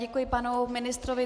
Děkuji panu ministrovi.